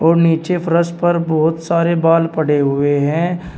और नीचे फर्श पर बहुत सारे बाल पड़े हुए हैं।